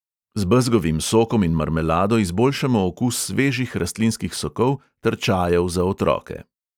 Z bezgovim sokom in marmelado izboljšamo okus svežih rastlinskih sokov ter čajev za otroke.